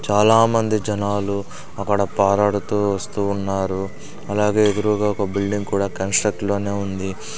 చాలామంది జనాలు అక్కడ పారాడుతూ వస్తూ ఉన్నారు అలాగే ఎదురుగా ఒక బిల్డింగ్ కూడా కన్స్ట్రక్ట్ లోనే ఉంది.